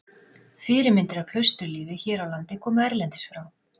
Fyrirmyndir að klausturlífi hér á landi komu erlendis frá.